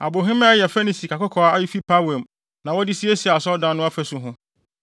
Abohemaa a ɛyɛ fɛ ne sikakɔkɔɔ a efi Parwaim na wɔde siesiee Asɔredan no afasu ho.